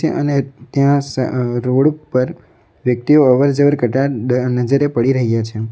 અને ત્યાં સ રોડ ઉપર વ્યક્તિઓ અવરજવર કરતા દ નજરે પડી રહ્યા છે.